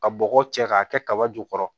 Ka bɔgɔ cɛ k'a kɛ kaba jukɔrɔ